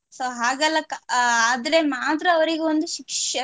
So ಹಾಗೆಲ್ಲ ಕ~ ಆದ್ರೆ ಮಾತ್ರ ಅವರಿಗೆ ಒಂದು ಶಿಕ್ಷ~